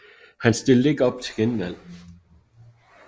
Han stilte ikke op til genvalg